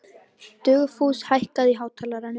Dugfús, hækkaðu í hátalaranum.